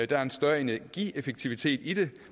der er en større energieffektivitet i det